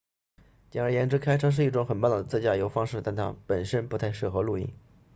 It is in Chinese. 简而言之开车是一种很棒的自驾游方式但它本身不太适合露营